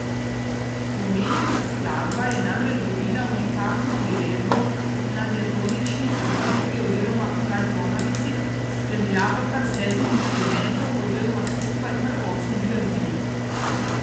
Omenjena skladba je namreč dobila unikatno priredbo na diatonični harmoniki oziroma frajtonarici s spremljavo kar sedmih inštrumentov, oziroma skupaj kar osmih glasbil.